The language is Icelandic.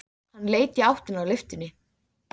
Hann leit í áttina að lyftunni.